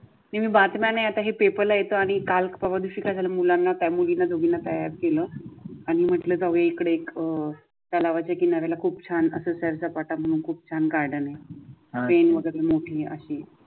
मी बातम्या नाही आता ही पेपरला येतो आणि कल परवाच्या दिवशी काय झाल मुलांना केलं आणि म्हटलं जाऊ दे इकडे अह तलावाच्या किनार्याला खूप छान असं सर्च पाठवून खूप छान गार्डन आहे